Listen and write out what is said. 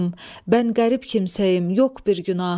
Mən qərib kimsəyəm, yox bir günahım.